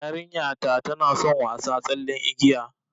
Yarinta tana son wasa tsallen igiya